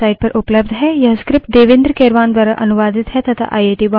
इस पर अधिक जानकारी हमारी निम्नलिखित वेबसाइट पर उपलब्ध है